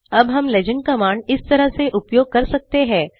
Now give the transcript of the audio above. अब हम legend command इस तरह से उपयोग कर सकते हैं